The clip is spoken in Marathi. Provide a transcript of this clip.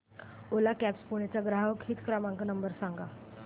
ओला कॅब्झ पुणे चा ग्राहक हित क्रमांक नंबर सांगा